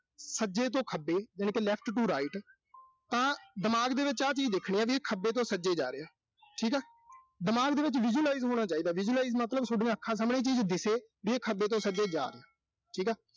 ਸੱਜੇ ਤੋਂ ਖੱਬੇ ਯਾਨੀ ਕਿ left to right ਤਾਂ ਦਿਮਾਗ ਦੇ ਵਿੱਚ ਆਹ ਚੀਜ਼ ਦੇਖਣੀ ਆ ਵੀ ਇਹ ਖੱਬੇ ਤੋਂ ਸੱਜੇ ਜਾ ਰਿਹਾ। ਠੀਕਾ। ਦਿਮਾਗ ਦੇ ਵਿੱਚ visualize ਹੋਣਾ ਚਾਹੀਦਾ। visualize ਮਤਲਬ, ਸੋਡੀਆਂ ਅੱਖਾਂ ਸਾਹਮਣੇ ਇਹ ਚੀਜ਼ ਦਿਸੇ। ਵੀ ਇਹ ਖੱਬੇ ਤੋਂ ਸੱਜੇ ਜਾ ਰਿਹਾ। ਠੀਕਾ।